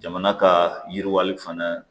Jamana ka yiriwali fana